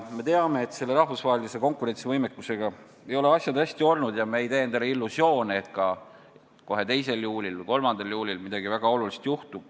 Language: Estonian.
Me teame, et rahvusvahelise konkurentsivõimega ei ole asjad hästi olnud, ja me ei tee endale illusioone, et kohe 2. juulil või 3. juulil midagi väga olulist juhtub.